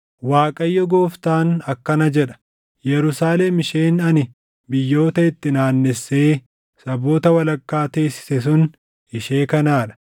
“ Waaqayyo Gooftaan akkana jedha: Yerusaalem isheen ani biyyoota itti naannessee saboota walakkaa teessise sun ishee kanaa dha.